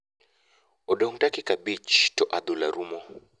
Odong dakika abich to adhula rumo.